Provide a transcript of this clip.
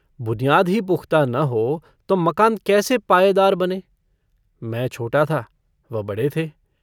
बुनियाद ही पुख्ता न हो तो मकान कैसे पायेदार बने मै छोटा था वह बड़े थे।